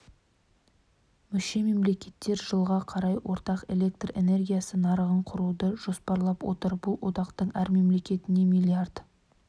мүше мемлекеттер жылға қарай ортақ электр энергиясы нарығын құруды жоспарлап отыр бұл одақтың әр мемлекетіне млрд